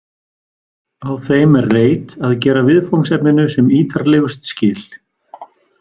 Á þeim er reyt að gera viðfangsefninu sem ítarlegust skil.